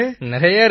நிறைய இருக்கு